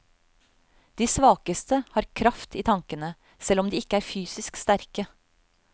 De svakeste har kraft i tanken, selv om de ikke er fysisk sterke.